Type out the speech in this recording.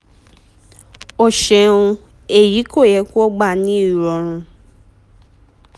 o ṣeun eyi ko yẹ ki o gba ni irọrun